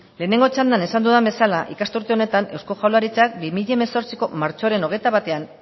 lehenengo txandan esan dudan bezala ikasturte honetan eusko jaurlaritzak bi mila hemezortzieko martxoaren hogeita batean